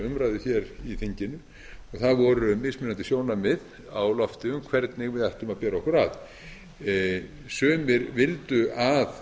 umræðu hér í þinginu og það voru mismunandi sjónarmið á lofti um hvernig við ættum að bera okkur að sumir vildu að